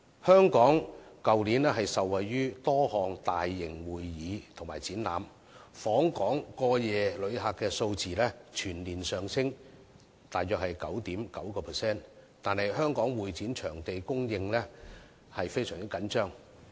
香港去年受惠於多項大型會議及展覽，訪港過夜旅客數字全年上升約 9.9%， 但香港會展場地的供應卻非常緊張。